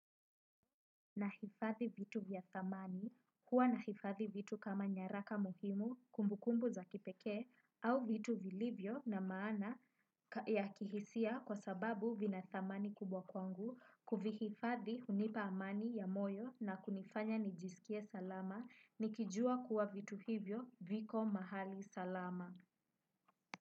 Nahifadhi vitu vya thamani, huwa nahifadhi vitu kama nyaraka muhimu, kumbukumbu za kipekee, au vitu vilivyo na maana ya kihisia kwa sababu vina thamani kubwa kwangu, kuvihifadhi hunipa amani ya moyo na kunifanya nijisikie salama, nikijua kuwa vitu hivyo viko mahali salama.